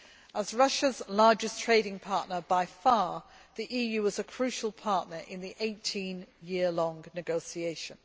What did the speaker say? As Russia's largest trading partner by far, the EU was a crucial partner in the 18 year long negotiations.